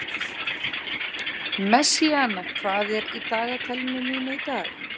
Messíana, hvað er í dagatalinu mínu í dag?